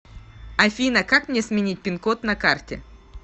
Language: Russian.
афина как мне сменить пин код на карте